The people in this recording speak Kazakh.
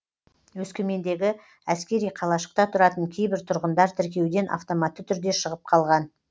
өскемендегі әскери қалашықта тұратын кейбір тұрғындар тіркеуден автоматты түрде шығып қалған